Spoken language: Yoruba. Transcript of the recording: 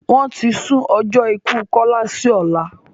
Wọ́n ti sún ọjọ́ ikú Kọ́lá si ọ̀lá